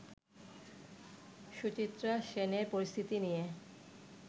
সুচিত্রা সেনের পরিস্থিতি নিয়ে